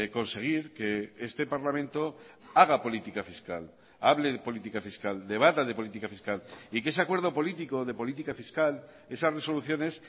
conseguir que este parlamento haga política fiscal hable de política fiscal debata de política fiscal y que ese acuerdo político o de política fiscal esas resoluciones